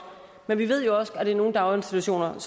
men vi ved også at i nogle daginstitutioner er